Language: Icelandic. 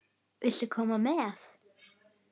Viltu koma með?